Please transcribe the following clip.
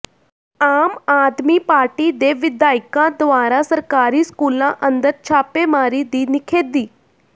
ਆਮ ਆਦਮੀ ਪਾਰਟੀ ਦੇ ਵਿਧਾਇਕਾਂ ਦੁਆਰਾ ਸਰਕਾਰੀ ਸਕੂਲਾਂ ਅੰਦਰ ਛਾਪੇਮਾਰੀ ਦੀ ਨਿਖੇਧੀ